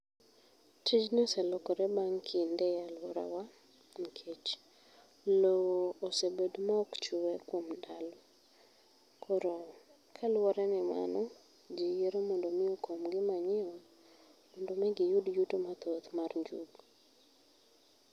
Tijni oselokore bang' kinde e aluorawa nikech lowo osebedo maok chwe kuom ndalo. Koro kaluwore ni mano ji yiero mondo mi okom gi manyiwa mondo mi giyud yuto mathoth mar njugu